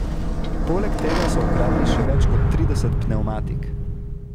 Poleg tega so ukradli še več kot trideset pnevmatik.